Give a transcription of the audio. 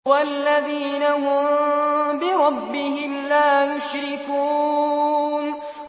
وَالَّذِينَ هُم بِرَبِّهِمْ لَا يُشْرِكُونَ